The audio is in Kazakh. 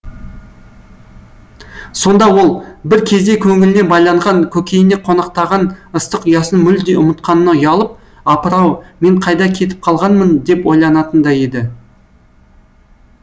сонда ол бір кезде көңіліне байланған көкейіне қонақтаған ыстық ұясын мүлде ұмытқанына ұялып апыр ау мен қайда кетіп қалғанмын деп ойланатын да еді